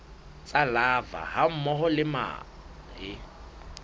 tsa larvae hammoho le mahe